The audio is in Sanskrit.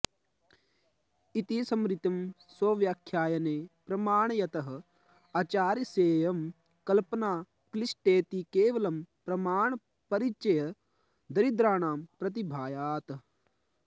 इति स्मृतिं स्वव्याख्याने प्रमाणयतः आचार्यस्येयं कल्पना क्लिष्टेति केवलं प्रमाणपरिचयदरिद्राणां प्रतिभायात्